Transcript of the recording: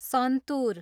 santoor